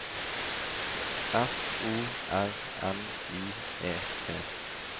F O R N Y E T